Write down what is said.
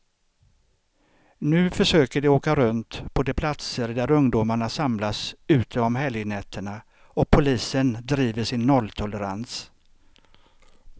Nu försöker de åka runt på de platser där ungdomarna samlas ute om helgnätterna, och polisen driver sin nolltolerans.